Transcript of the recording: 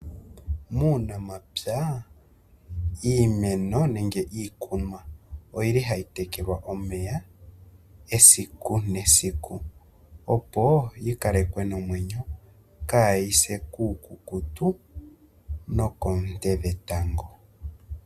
Muunamapya iimeno nenge iikunwa oyili hayi tekelwa omeya esiku nesiku opo yi kalekwe nomwenyo kayi se kuukukutu nokoonte dhetango.